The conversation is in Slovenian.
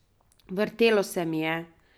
Vrtelo se mi je.